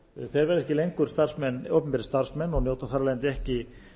þeir verða ekki lengur opinberir starfsmenn og njóta þar af leiðandi ekki